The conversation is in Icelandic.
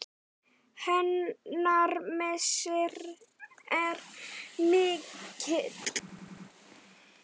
Hennar missir er mikill.